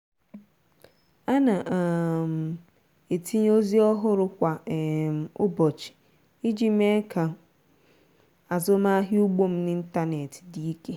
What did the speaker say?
a na um m etinye ozi ọhụrụ kwa um ụbọchị iji mee ka azụmahịa ugbo m n'ịntanetị dị ike.